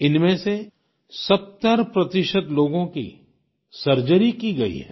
इनमें से 70 प्रतिशत लोगों की सर्जरी की गई है